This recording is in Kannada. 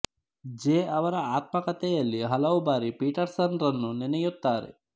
ಜೆ ಅವರ ಆತ್ಮಕಥೆಯಲ್ಲಿ ಹಲವು ಬಾರಿ ಪೀಟರ್ ಸನ್ ರನ್ನು ನೆನೆಯುತ್ತಾರೆ